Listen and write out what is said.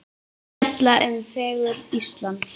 Fjalla um fegurð Íslands